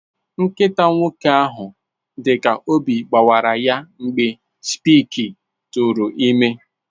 Nkịta nwoke ahụ dị ka obi gbawara ya mgbe Spike tụụrụ ime.